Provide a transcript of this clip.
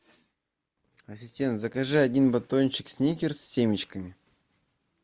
ассистент закажи один батончик сникерс с семечками